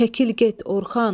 Çəkil get, Orxan.